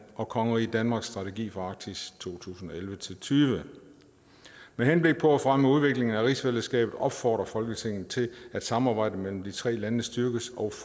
og kongeriget danmarks strategi for arktis to tusind og elleve til tyve med henblik på at fremme udviklingen af rigsfællesskabet opfordrer folketinget til at samarbejdet mellem de tre lande styrkes og